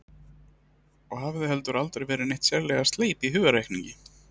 Og hafði heldur aldrei verið neitt sérlega sleip í hugarreikningi.